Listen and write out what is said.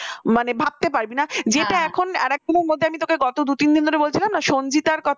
মানে ভাবতে পারবি না? যেটা এখন আরেক দিনের মধ্যে গত দু-তিন ধরে বলছিলাম না সঙ্গীতার কথা